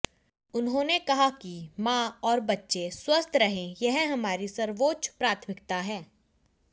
उन्होंने कहा कि मां और बच्चे स्वस्थ रहें यह हमारी सर्वोच्च प्राथमिकता है